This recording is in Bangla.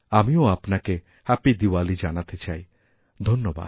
আমিও আপনাকে হ্যাপি দিওয়ালি জানাতে চাই ধন্যবাদ